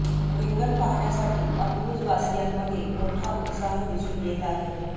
रिंगण पाहण्यासाठी अकलूज वासीयांमध्ये मोठा उत्साह दिसून येत आहे